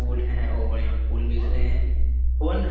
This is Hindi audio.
फूल है और यहाँ फूल बेच रहे हैं। कौन है?